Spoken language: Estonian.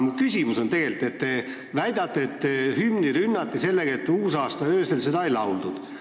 Mu küsimus on aga teie väite kohta, et hümni rünnati sellega, et seda ei lauldud uusaastaöösel.